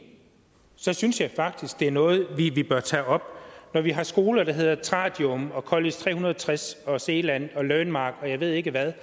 så synes jeg faktisk at det er noget vi bør tage op når vi har skoler der hedder tradium og college tre hundrede og tres og zealand og learnmark og jeg ved ikke hvad